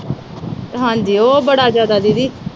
ਹਾਂਜੀ, ਉਹ ਬੜਾ ਜਿਆਦਾ ਦੀਦੀ।